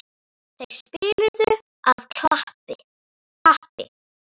Þeir spiluðu af kappi.